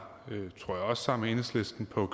noget